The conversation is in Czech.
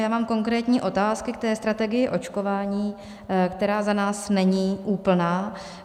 Já mám konkrétní otázky k té strategii očkování, která za nás není úplná.